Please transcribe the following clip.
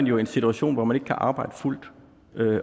jo i en situation hvor man ikke kan arbejde fuldt